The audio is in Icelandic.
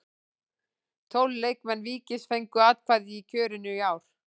Tólf leikmenn Víkings fengu atkvæði í kjörinu í ár.